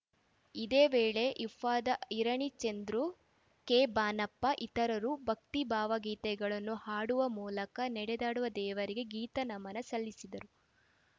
ಇದೇ ವೇಳೆ ಇಫ್ಟಾದ ಇರಣಿ ಚಂದ್ರು ಕೆಬಾನಪ್ಪ ಇತರರು ಭಕ್ತಿ ಭಾವಗೀತೆಗಳನ್ನು ಹಾಡುವ ಮೂಲಕ ನಡೆದಾಡುವ ದೇವರಿಗೆ ಗೀತ ನಮನ ಸಲ್ಲಿಸಿದರು